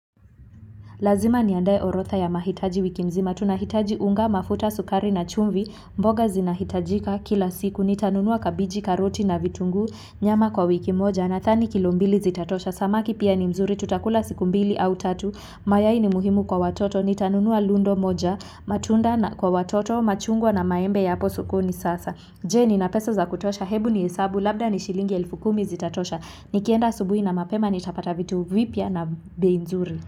Lazima niandae orodha ya mahitaji wiki mzima, tunahitaji unga, mafuta sukari na chumvi, mboga zinahitajika kila siku, nitanunua kabichi karoti na vitunguu, nyama kwa wiki moja, nadhani kilombili zitatosha, samaki pia ni mzuri, tutakula siku mbili au tatu, mayai ni muhimu kwa watoto, ni anunua lundo moja, matunda na kwa watoto, machungwa na maembe ya hapo sokoni sasa. Je nina pesa za kutosha, hebu nihesabu, labda ni shilingi elfu kumi zitatosha, ni kienda asubuhi na mapema nitapata vitu vipya na bei nzuri.